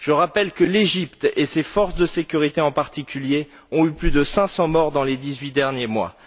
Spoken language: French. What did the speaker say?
Je rappelle que l'Égypte et ses forces de sécurité en particulier ont eu plus de 500 morts dans les dix huit derniers mois.